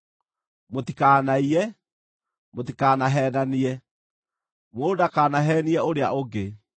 “ ‘Mũtikanaiye. “ ‘Mũtikanaheenanie. “ ‘Mũndũ ndakanaheenie ũrĩa ũngĩ.